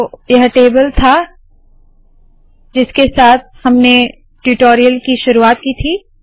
तो यह टेबल था जिसके साथ हमने ट्यूटोरियल की शुरुवात की थी